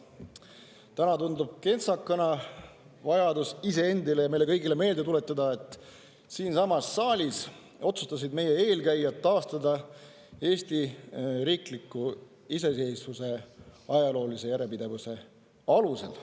Täna tundub kentsakana vajadus iseendile ja meile kõigile meelde tuletada, et siinsamas saalis otsustasid meie eelkäijad taastada Eesti riikliku iseseisvuse ajaloolise järjepidevuse alusel.